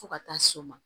Fo ka taa s'o ma